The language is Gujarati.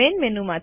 main menu